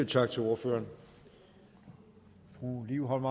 tak til ordføreren fru liv holm